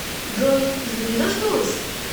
джой жду не дождусь